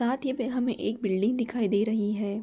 साथ ये पे हमें एक बिल्डिंग दिखाई दे रही है।